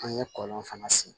An ye kɔlɔn fana sen